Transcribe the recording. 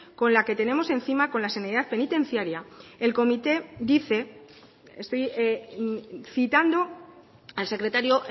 con la que tenemos encima con la sanidad penitenciaria el comité dice estoy citando al secretario